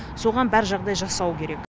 соған бар жағдай жасау керек